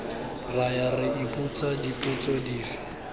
raya re ipotsa dipotso dife